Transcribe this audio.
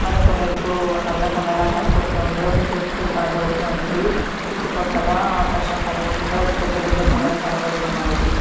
మరొకవైపు నల్ల కుండా లా కనబడుతుంది ఒక చెట్టు కనబడుతుంది చుట్టుపక్కల ఆకాశం కనబడుతుంది పెద్ద పెద్ద కొండలు కనబడుతున్నాయి.